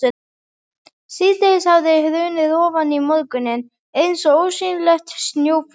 Síðdegið hafði hrunið ofan í morguninn eins og ósýnilegt snjóflóð.